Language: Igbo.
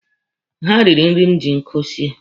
Ha riri nri m ji nkụ sie.